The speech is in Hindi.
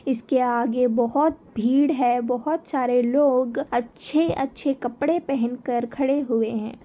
इसके आगे बहुत भीड़ है बहुत सारे लोग अच्छे अच्छे कपड़े पहनकर खड़े हुए है।